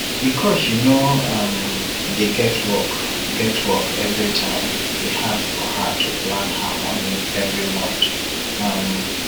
because she no um dey get work get work every time e hard for her to plan her monie every month um